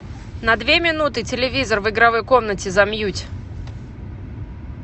на две минуты телевизор в игровой комнате замьють